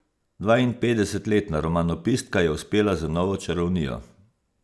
Dvainpetdesetletna romanopiska je uspela z novo čarovnijo.